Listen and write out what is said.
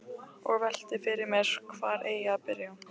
Og velti fyrir mér hvar eigi að byrja.